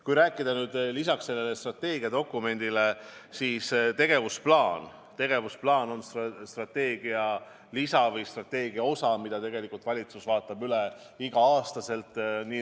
Kui rääkida lisaks strateegiadokumendile ka muust, siis tegevusplaan on strateegia lisa või strateegia osa, mille valitsus vaatab üle igal aastal.